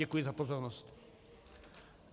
Děkuji za pozornost.